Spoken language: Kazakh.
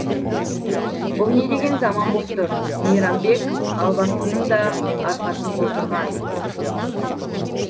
бұл не деген заман боп тұр мейрамбек албастының да арқасын қоздырған